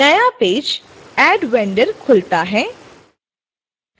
नया page add vendor खुलता है